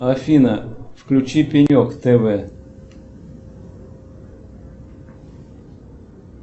афина включи пенек тв